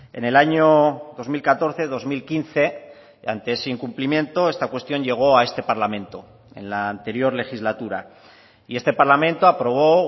en el año dos mil catorce dos mil quince ante ese incumplimiento esta cuestión llegó a este parlamento en la anterior legislatura y este parlamento aprobó